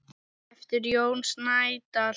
eftir Jón Snædal.